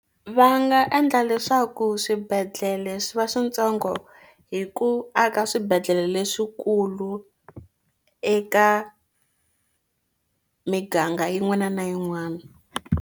Va nga endla leswaku swibedhlele swi va swintsongo hi ku aka swibedhlele leswikulu eka miganga yin'wana na yin'wana.